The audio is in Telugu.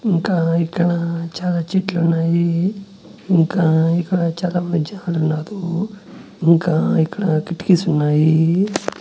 ఇంకా ఇక్కడ చాలా చెట్లు ఉన్నాయి ఇంకా ఇక్కడ చాలా మంద్ జనాలు ఉన్నారు ఇంకా ఇక్కడ కిటికీస్ ఉన్నాయి.